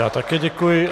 Já také děkuji.